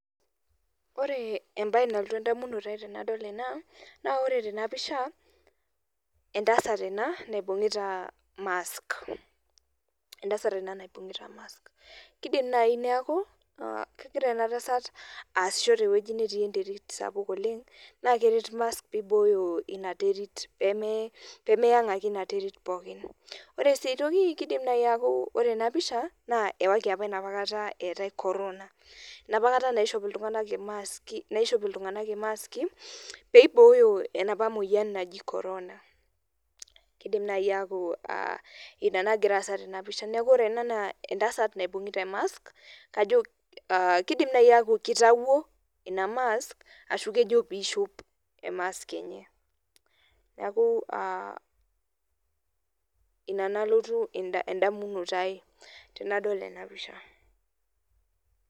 Ore ebae nalotu edamunoto ai tenadol ena, na ore tenapisha, entasat ena naibung'ita mask. Entasat ena naibung'ita mask. Kidim nai neeku, kegira enatasat asisho tewueji netii enterit sapuk oleng, na keret mask piboyo ina terit pemeyang' ake ina terit pookin. Ore si ai toki, kidim neku ore enapisha naa ewaki apa enapa kata eetae corona. Enapa kata naishop iltung'anak imaski, naishop iltung'anak imaski, peiboyo enapa moyian naji corona. Kidim nai aku ah ina nagira aasa tenapisha. Neeku ore ena naa entasat naibung'ita e mask, kajo kidim nai aku kitawuo ina mask ashu kejo pishop e mask enye. Neeku ah ina nalotu edamunoto ai tenadol enapisha.